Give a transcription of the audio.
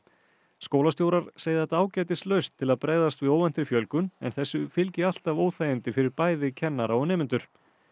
skólastjórar segja þetta ágætis lausn til að bregðast við óvæntri fjölgun en þessu fylgi alltaf óþægindi fyrir bæði kennara og nemendur